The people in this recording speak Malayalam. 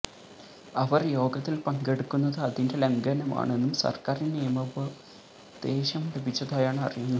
അവർ യോഗത്തിൽ പങ്കെടുക്കുന്നത് അതിെൻറ ലംഘനമാണെന്നും സർക്കാറിന് നിയമോപദേശം ലഭിച്ചതായാണ് അറിയുന്നത്